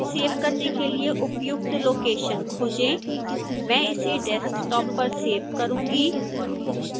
save करने के लिए उपयुक्त लोकेशन खोजें मैं इसे desktop पर सेव करूँगी